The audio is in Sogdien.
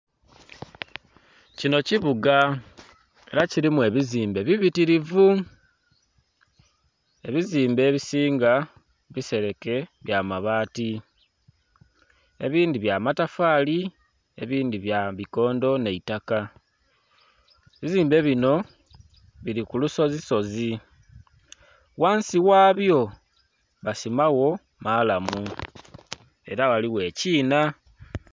Kinho kibuga era kirimu ebizimbe bibitirivu ,ebizimbe ebisinga bisereke bya mabati ebindhi bya matafali, ebindhi bya bikondho nha itaka. Ebizimbe binho biri ku lusozi sozi ghansi ghabyo basimagho maalamu era ghaligho ekiinha.